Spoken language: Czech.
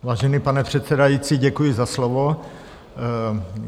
Vážený pane předsedající, děkuji za slovo.